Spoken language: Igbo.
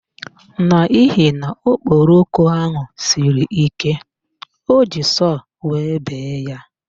N'ihi na okporoko ahụ siri ike, o ji sọọ wee bee ya.